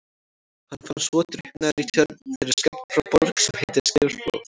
Hann fannst svo drukknaður í tjörn þeirri skammt frá Borg sem heitir Skerflóð.